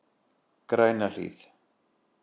Grænahlíð